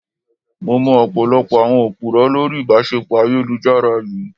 Mo mọ ọ̀pọ̀lọpọ̀ àwọn Òpùrọ́ lórí ìbáṣepọ̀ ayélujára yìí.